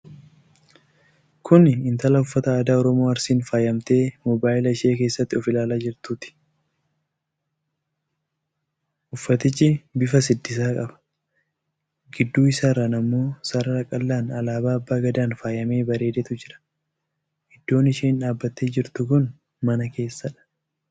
Kuni Intala uffata aadaa Oromoo Arsiin faayamtee mobaayilaa ishee keessatti of ilaalaa jirtuuti. uffatichi bifa siddisaa qaba. Gidduu isaarran ammoo sarara qal'aan alaabaa abbaa gadaaan faayamee bareedetu jira. Iddoon isheen dhaabattee jirtu kun mana keessadha.